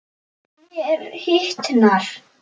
Mér hitnar.